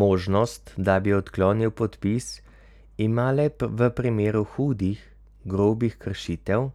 Možnost, da bi odklonil podpis, ima le v primeru hudih, grobih kršitev,